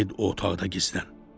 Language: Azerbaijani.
Get o otaqda gizlən.